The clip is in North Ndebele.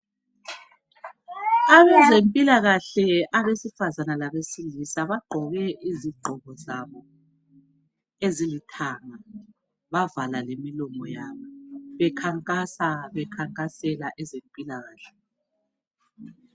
Abezempilakahle abesifazane labesilisa bagqoke izigqoko zabo ezilithanga bavala lemilomo yabo bekhankasa bekhankasela ezempilakahle.